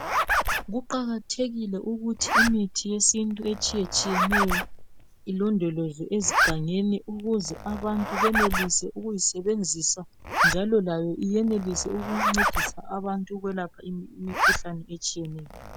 Kuqakathekile ukuthi imithi yesintu etshiyetshiyeneyo ilondolozwe ezigangeni ukuze abantu benelise ukuyisebenzisa njalo layo iyenelise ukuncedisa abantu ukwelapha imikhuhlane etshiyeneyo.